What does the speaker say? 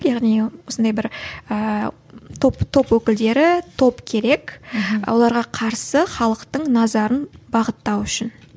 яғни осындай бір ііі топ топ өкілдері топ керек мхм оларға қарсы халықтың назарын бағыттау үшін